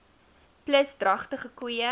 plus dragtige koeie